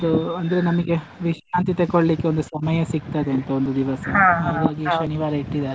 ಇದು ಅಂದ್ರೆ ನಮಿಗೆ ವಿಶ್ರಾಂತಿ ತಕೋಳ್ಳಿಕ್ಕೆ ಒಂದು ಸಮಯ ಸಿಗ್ತದೆ ಅಂತ ಒಂದು ದಿವಸ. ಶನಿವಾರ ಇಟ್ಟಿದಾರೆ.